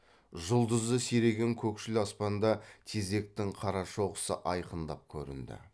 жұлдызы сиреген көкшіл аспанда тезектің қарашоқысы айқындап көрінді